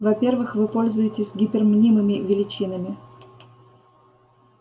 во-первых вы пользуетесь гипермнимыми величинами